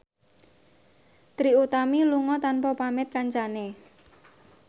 Trie Utami lunga tanpa pamit kancane